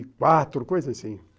quatro, coisa